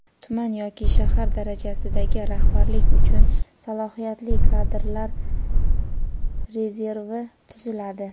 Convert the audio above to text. Tuman yoki shahar darajasidagi rahbarlik uchun Salohiyatli kadrlar rezervi tuziladi:.